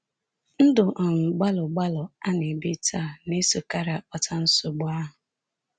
Ndụ um gbalụgbalụ a na-ebi taa na-esokarị akpata nsogbu ahụ.